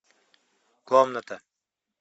комната